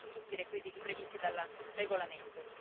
tutti i requisiti previsti dal regolamento.